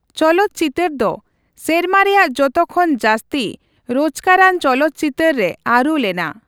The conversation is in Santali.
ᱪᱚᱞᱚᱛᱪᱤᱛᱟᱹᱨ ᱫᱚ ᱥᱮᱨᱢᱟ ᱨᱮᱭᱟᱜ ᱡᱚᱛᱚ ᱠᱷᱚᱱ ᱡᱟᱹᱥᱛᱤ ᱨᱚᱡᱽᱠᱟᱨᱟᱱ ᱪᱚᱞᱚᱛ ᱪᱤᱛᱟᱹᱨ ᱨᱮ ᱟᱹᱨᱩ ᱞᱮᱱᱟ ᱾